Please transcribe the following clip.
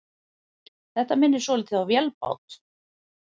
Þetta minnir svolítið á vélbát.